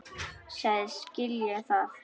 Sagðist skilja það.